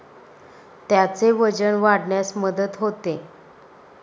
त्याचे वजन वाढण्यास मदत होते.